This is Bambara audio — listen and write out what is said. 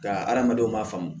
Ka hadamadenw ma faamu